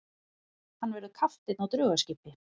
Hann verður kapteinn á draugaskipi.